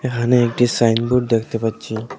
এখানে একটি sign board দেখতে পাচ্ছি।